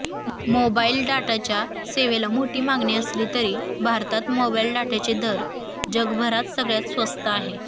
mobile डाटाच्या सेवेला मोठी मागणी असली तरी भारतात मोबाइल डाटाचे दर जगभरात सगळ्यात स्वस्त आहेत